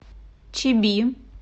чиби